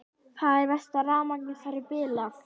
Það er verst að rafmagnið þar er bilað.